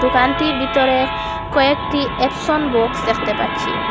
দোকানটির ভিতরে কয়েকটি এপসন বক্স দেখতে পাচ্ছি।